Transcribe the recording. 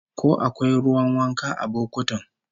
Ko akwai ruwan wanka a bokotin?